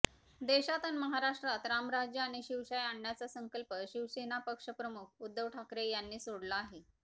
देशात अन महाराष्ट्रात रामराज्य आणि शिवशाही आणण्याचा संकल्प शिवसेना पक्षप्रमुख उद्धव ठाकरे यांनी सोडला आहे